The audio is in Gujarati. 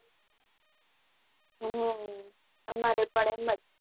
હમ અમારે પણ એમજ છે